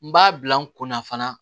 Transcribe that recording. N b'a bila n kunna fana